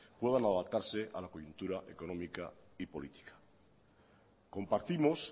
puedan adaptarse a la coyuntura económica y política compartimos